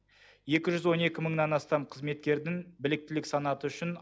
екі жүз он екі мыңнан астам қызметкердің біліктілік санаты үшін